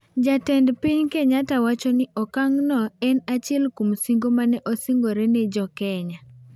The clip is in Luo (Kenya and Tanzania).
Jatend piny Kenyatta wacho ni okang' no en achiel kuom singo mane osingore ne jo Kenya.